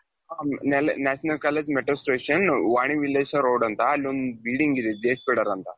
national college metro station Vani Vilas road ಅಂತ ಅಲ್ಲಿ ಒಂದು building ಇದೆ ಅಂತ .